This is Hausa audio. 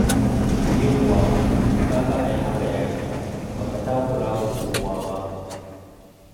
Yawwa! To, ka ga ai haka ya fi, ba ka takura wa kowa ba.